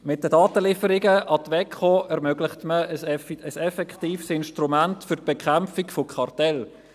Mit den Datenlieferungen an die WEKO ermöglicht man ein effektives Instrument zur Bekämpfung von Kartellen.